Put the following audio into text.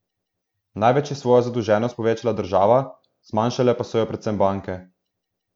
Največ je svojo zadolženost povečala država, zmanjšale pa so jo predvsem banke.